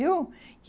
Viu?